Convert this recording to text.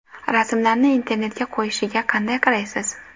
Rasmlarni internetga qo‘yishiga qanday qaraysiz?